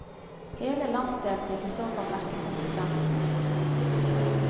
Hele landsdelen vil i så fall merke konsekvensene.